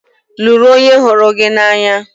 Lụrụ onye hụrụ gị n'anya!